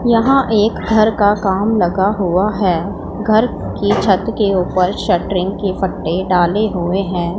यहां एक घर का काम लगा हुआ है घर की छत के ऊपर शटरिंग के फट्टे डाले हुए हैं।